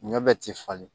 Ɲɔ bɛɛ ti falen